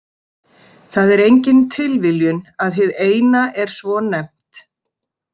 Það er engin tilviljun að hið Eina er svo nefnt.